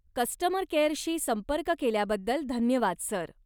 Customer केअरशी संपर्क केल्याबद्दल धन्यवाद, सर.